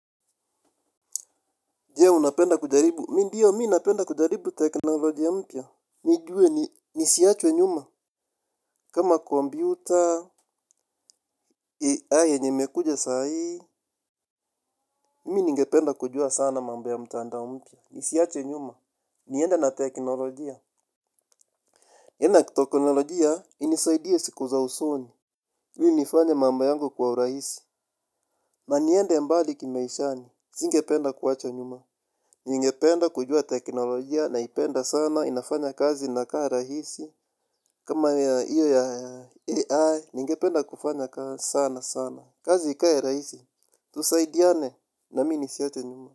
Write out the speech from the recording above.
Je, unapenda kujaribu. Mimi ndiyo, mimi napenda kujaribu teknolojia mpya. Nijue, nisiachwe nyuma. Kama kompyuta, AI yenye imekuje saa hii, mimi ningependa kujua sana mambo ya mtandao mpya. Nisiachwe nyuma. Niende na teknolojia. Tena, teknolojia, inisaidie siku za usoni. Ili nifanye mambo yangu kwa urahisi. Na niende mbali kimaishani. Nisingependa kuwachwa nyuma. Ningependa kujua teknolojia naipenda sana inafanya kazi inakaa rahisi. Kama hiyo ya AI, ningependa kufanya kaa sana sana, kazi ikae rahisi, tusaidiane na mimi nisiachwe nyuma.